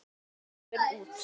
Bjartur gefur út